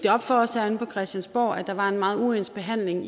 op for os herinde på christiansborg at der var en meget uens behandling af